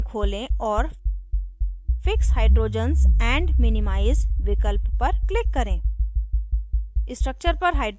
modelkit menu खोलें और fix hydrogens and minimize विकल्प पर click करें